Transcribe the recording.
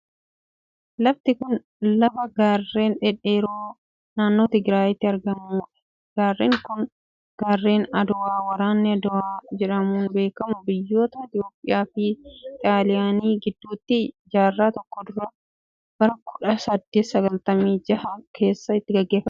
Lafti kun, lafa gaarren dhedheeroo naannoo Tigraayitti argamuu dha. Gaarreen kun, gaarreen Aduwaa waraanni Aduwaa jedhamuun beekamu biyyoota Itoophiyaa fi Xaaliyaanii gidduutti jaarraa tokkoon dura bara kudha saddeet sagaltami jaha keessa itti gaggeeffamee dha.